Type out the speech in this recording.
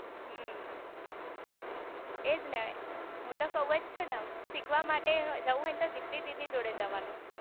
હમ્મ એજ ને હું તો કવજ છુ ને શીખવા માટે જવું હોય તો દિપ્તી દીદી જોડે જવાનું